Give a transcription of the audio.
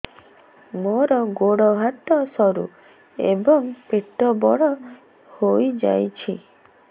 ମୋର ଗୋଡ ହାତ ସରୁ ଏବଂ ପେଟ ବଡ଼ ହୋଇଯାଇଛି